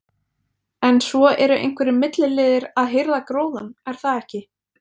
En svo eru einhverjir milliliðir að hirða gróðann, er það ekki?